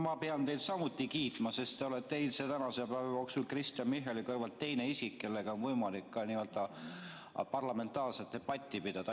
Ma pean teid samuti kiitma, sest te olete eilse ja tänase päeva jooksul Kristen Michali kõrval teine isik, kellega on võimalik ka parlamentaarset debatti pidada.